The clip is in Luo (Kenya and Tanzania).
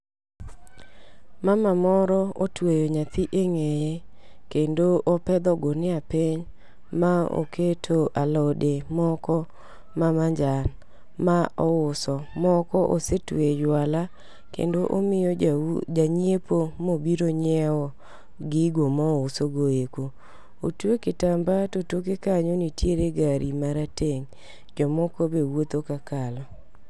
Mama moro otweyo nyathi eng'eye, kendo opedho ogunia piny kendo oketo alode moko mamajan ma ouyo moko osetueyo e jwala kendo omiyo janyiepo ma obiro nyiewo gigo ma ouso go eko. Otueyo kitamba to toke kanyo nitiere gari m,arateng'. Jomoko be wuotho ka kalo.